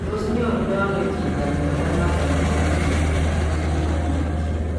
Tos nyorundo ano chito mnyondo noton nebo mycobacterium malmoense?